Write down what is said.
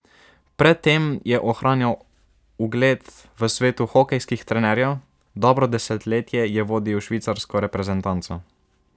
Pred tem je ohranjal ugled v svetu hokejskih trenerjev, dobro desetletje je vodil švicarsko reprezentanco.